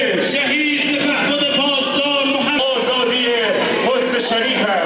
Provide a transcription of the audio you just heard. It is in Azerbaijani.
Şəhid, pasdar, Qüdsə şərəfdir.